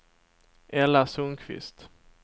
Ella Sundqvist